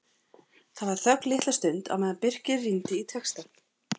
Það var þögn litla stund á meðan Birkir rýndi í textann.